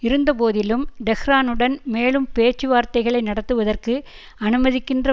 இருந்த போதிலும் டெஹ்ரானுடன் மேலும் பேச்சுவார்த்தைகளை நடத்துவதற்கு அனுமதிக்கின்ற